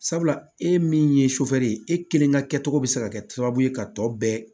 Sabula e min ye ye e kelen ka kɛ cogo be se ka kɛ sababu ye ka tɔ bɛɛ